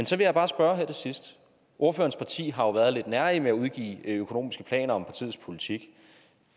så vil jeg bare spørge her til sidst ordførerens parti har jo været lidt nærige med at udgive økonomiske planer om partiets politik